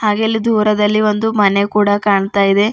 ಹಾಗೆ ಅಲ್ಲಿ ದೂರದಲ್ಲಿ ಒಂದು ಮನೆ ಕೂಡ ಕಾಣ್ತಾ ಇದೆ.